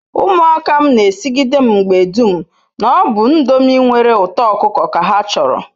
Umuaka m n'esigide mgbe dum na-obu ndomi nwere uto okuko ka ha choro